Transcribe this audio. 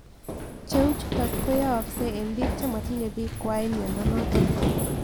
Cheu chutok ko yaakse eng' pik che matinye pik kwai miando notok